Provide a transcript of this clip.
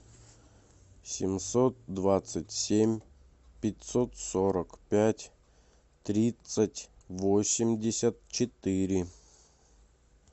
семьсот двадцать семь пятьсот сорок пять тридцать восемьдесят четыре